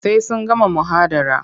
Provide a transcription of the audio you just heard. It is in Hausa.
Sai sun gama muhadara.